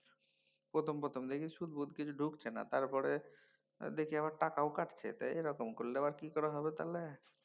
প্রথম প্রথম দেখি সুদ ফুদ কিছু ধুকছে না। তারপরে দেখি আবার টাকাও কাটছে এরকম করলে আবার কি করেহবে তাহলে।